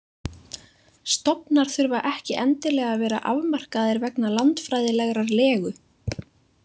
Stofnar þurfa ekki endilega að vera afmarkaðir vegna landfræðilegrar legu.